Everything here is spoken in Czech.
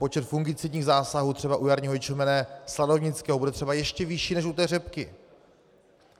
Počet fungicidních zásahů třeba u jarního ječmene sladovnického bude třeba ještě vyšší než u té řepky.